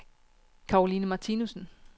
Karoline Martinussen